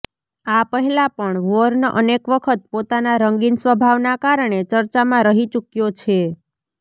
આ પહેલા પણ વોર્ન અનેક વખત પોતાના રંગીન સ્વભાવના કારણે ચર્ચામાં રહી ચુક્યો છે